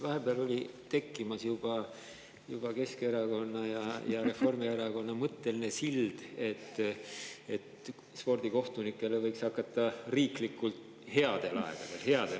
Vahepeal oli siin juba tekkimas Keskerakonna ja Reformierakonna mõtteline sild, et spordikohtunikele võiks headel aegadel – headel aegadel!